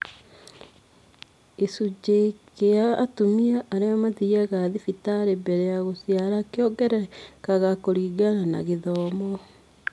Gĩcunjĩ kĩa atumia arĩa mathiaga thibitarĩ mbele ya gũciara kĩongererekaga kũringana na gĩthomo